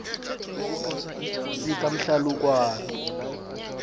sikamhlalukwana